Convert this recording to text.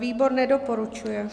Výbor nedoporučuje.